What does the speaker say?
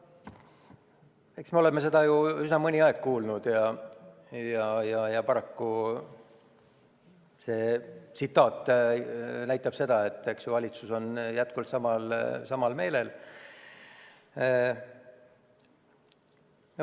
Eks me oleme seda juba mõnda aega kuulnud ja paraku see tsitaat näitab seda, et valitsus on jätkuvalt samal meelel.